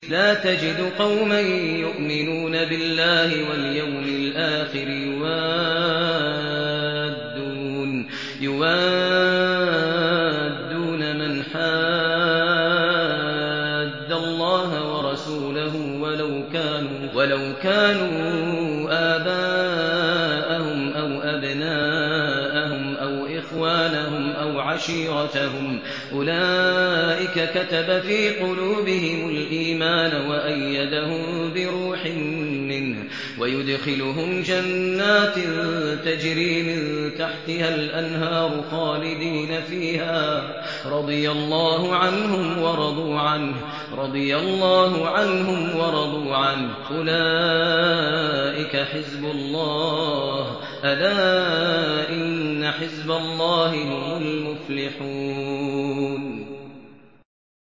لَّا تَجِدُ قَوْمًا يُؤْمِنُونَ بِاللَّهِ وَالْيَوْمِ الْآخِرِ يُوَادُّونَ مَنْ حَادَّ اللَّهَ وَرَسُولَهُ وَلَوْ كَانُوا آبَاءَهُمْ أَوْ أَبْنَاءَهُمْ أَوْ إِخْوَانَهُمْ أَوْ عَشِيرَتَهُمْ ۚ أُولَٰئِكَ كَتَبَ فِي قُلُوبِهِمُ الْإِيمَانَ وَأَيَّدَهُم بِرُوحٍ مِّنْهُ ۖ وَيُدْخِلُهُمْ جَنَّاتٍ تَجْرِي مِن تَحْتِهَا الْأَنْهَارُ خَالِدِينَ فِيهَا ۚ رَضِيَ اللَّهُ عَنْهُمْ وَرَضُوا عَنْهُ ۚ أُولَٰئِكَ حِزْبُ اللَّهِ ۚ أَلَا إِنَّ حِزْبَ اللَّهِ هُمُ الْمُفْلِحُونَ